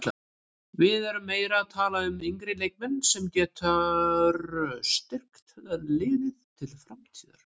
Við erum meira að tala um yngri leikmann sem getur styrkt liðið til framtíðar.